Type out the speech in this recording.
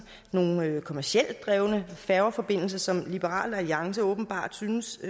nogle kommercielt drevne færgeforbindelser som liberal alliance åbenbart synes